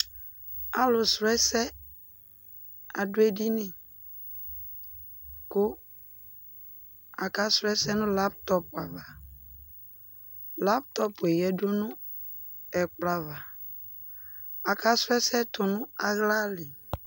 Alʋ srɔ ɛsɛ adʋ edini, kʋ akasrɔ ɛsɛ nʋ lap tɔp ava, lap tɔp yɛ dʋ nʋ ɛkplɔ ava, akasrɔ ɛsɛ tʋ nʋ ala li